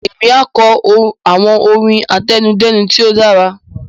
Émi a kọ àwọn orin àtẹnudẹ́nu tí o dára